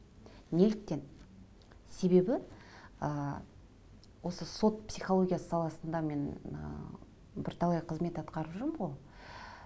неліктен себебі ыыы осы сот психологиясы саласында мен ыыы бірталай қызмет атқарып жүрмін ғой